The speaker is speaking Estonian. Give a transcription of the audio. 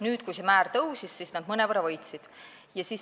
Nüüd, kui see määr tõusis, siis nad mõnevõrra võitsid.